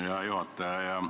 Hea juhataja!